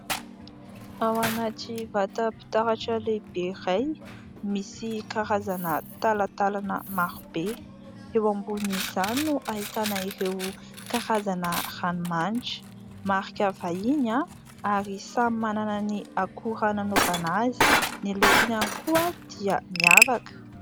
ao anaty vata-pitaratra lehibe iray misy karazana talatalana marobe eo ambonin'izany no ahitana ireo karazana ranomanitra marika vahiny a ary samy manana ny akora nanaovana azy ny lokony ihany koa dia miavaka